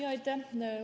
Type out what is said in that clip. Aitäh!